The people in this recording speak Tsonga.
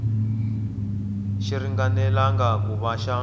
xi ringanelangi ku va xa